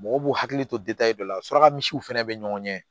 Mɔgɔw b'u hakili to dɔ la suraka misiw fɛnɛ be ɲɔgɔn ɲɛ